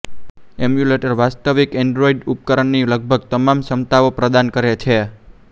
emulator વાસ્તવિક Android ઉપકરણની લગભગ તમામ ક્ષમતાઓ પ્રદાન કરે છે